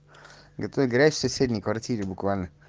это играет в соседней квартире буквально